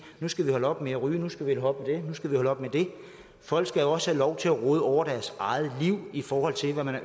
nu skal vi holde op med at ryge nu skal vi holde nu skal vi holde op med det folk skal jo også have lov til at råde over deres eget liv i forhold til hvad